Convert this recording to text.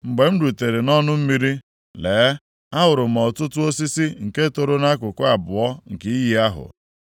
Mgbe m rutere nʼọnụ mmiri, lee, ahụrụ m ọtụtụ osisi nke toro nʼakụkụ abụọ nke iyi ahụ.